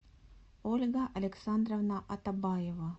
ольга александровна атабаева